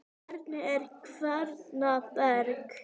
Hvernig er Henning Berg?